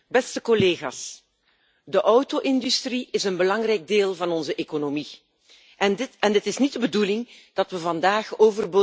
De auto industrie is een belangrijk deel van onze economie, en het is niet de bedoeling dat we vandaag overbodige gaan creëren.